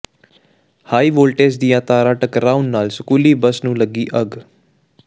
high voltage ਦੀਆਂ ਤਾਰਾਂ ਟਕਰਾਉਣ ਨਾਲ ਸਕੂਲੀ ਬੱਸ ਨੂੰ ਲੱਗੀ ਅੱਗ